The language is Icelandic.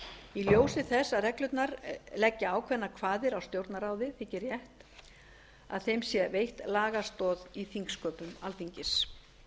í ljósi þess að reglurnar leggja ákveðnar kvaðir á stjórnarráðið þykir rétt að þeim sé veitt lagastoð í þingsköpum alþingis